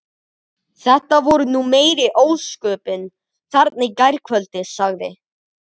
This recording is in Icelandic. Þetta voru nú meiri ósköpin þarna í gærkvöldi sagði